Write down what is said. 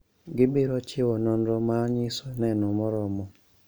Gibiro chiwo nonro ma nyiso neno moromo